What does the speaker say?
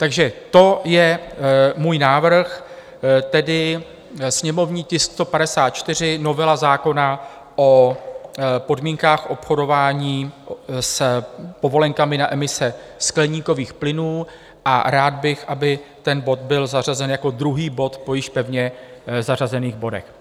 Takže to je můj návrh, tedy sněmovní tisk 154, novela zákona o podmínkách obchodování s povolenkami na emise skleníkových plynů, a rád bych, aby ten bod byl zařazen jako druhý bod po již pevně zařazených bodech.